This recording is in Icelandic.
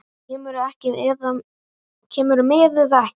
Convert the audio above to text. Kemurðu með eða ekki.